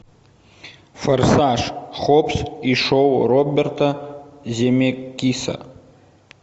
форсаж хоббс и шоу роберта земекиса